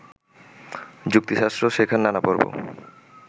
যুক্তিশাস্ত্র শেখার নানা পর্ব